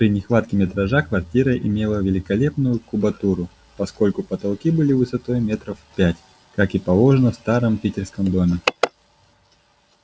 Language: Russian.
при нехватке метража квартира имела великолепную кубатуру поскольку потолки были высотой метров в пять как и положено в старом питерском доме